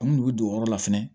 An kun bɛ don o yɔrɔ la fɛnɛ